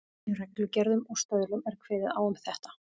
Í reglugerðum og stöðlum er kveðið á um þetta.